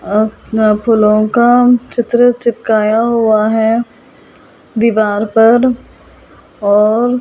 आ गा फूलों का चित्र चिपकाया हुआ है दीवार पर और ।